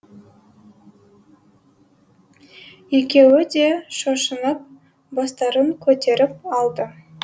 екеуі де шошынып бастарын көтеріп алды